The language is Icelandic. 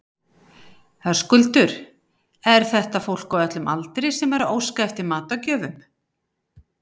Höskuldur, er þetta fólk á öllum aldri sem er að óska eftir matargjöfum?